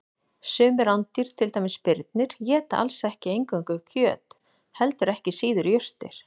Sum rándýr, til dæmis birnir, éta alls ekki eingöngu kjöt heldur ekki síður jurtir.